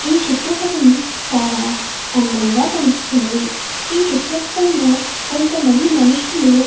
ఈ చిత్ర పటం చాలా అందంగా కనిపిస్తున్నది. ఈ చిత్రపటం లో కొంతమంది మనుషులు --